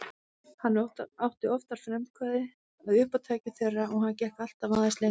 Hann átti oftar frumkvæðið að uppátækjum þeirra og hann gekk alltaf aðeins lengra.